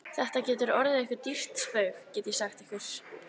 Þetta getur orðið ykkur dýrt spaug, get ég sagt ykkur!